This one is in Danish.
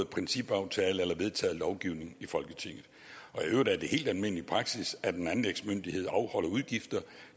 principaftale eller vedtaget lovgivning i folketinget i øvrigt er det helt almindelig praksis at en anlægsmyndighed afholder udgifter